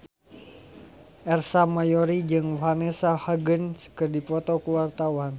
Ersa Mayori jeung Vanessa Hudgens keur dipoto ku wartawan